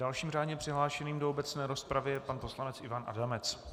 Dalším řádně přihlášeným do obecné rozpravy je pan poslanec Ivan Adamec.